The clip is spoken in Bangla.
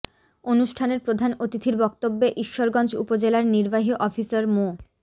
অনুষ্ঠানের প্রধান অতিথির বক্তব্যে ঈশ্বরগঞ্জ উপজেলার নির্বাহী অফিসার মো